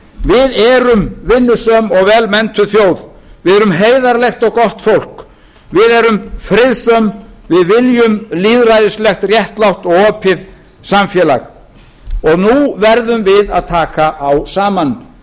við erum vinnusöm og vel menntun þjóð við erum heiðarlegt og gott fólk við erum friðsöm við viljum lýðræðislegt réttlátt og opið samfélag og nú verðum við að taka á saman